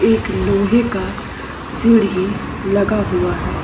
एक लोहे का सीडीं लगा हुआ है।